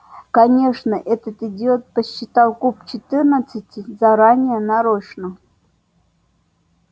конечно этот идиот подсчитал куб четырнадцати заранее нарочно